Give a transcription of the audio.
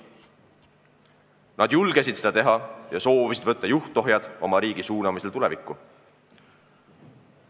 Nad julgesid seda teha ja soovisid juhtohjad oma riigi suunamisel tulevikku enda kätte võtta.